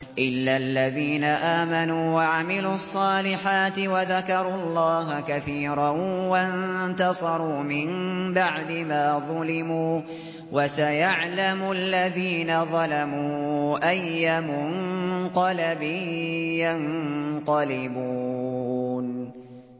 إِلَّا الَّذِينَ آمَنُوا وَعَمِلُوا الصَّالِحَاتِ وَذَكَرُوا اللَّهَ كَثِيرًا وَانتَصَرُوا مِن بَعْدِ مَا ظُلِمُوا ۗ وَسَيَعْلَمُ الَّذِينَ ظَلَمُوا أَيَّ مُنقَلَبٍ يَنقَلِبُونَ